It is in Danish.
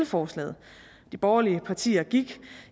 forslaget de borgerlige partier gik